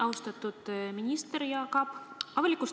Austatud minister Jaak Aab!